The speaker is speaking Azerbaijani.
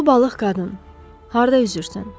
Ulu balıq qadın, harda üzürsən?